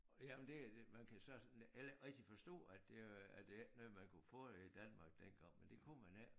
Jamen det man kan så heller ikke rigtig forstå at det var at det ikke noget man ikke kunne få i Danmark dengang men det kunne man ikke